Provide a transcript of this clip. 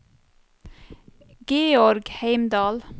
Georg Heimdal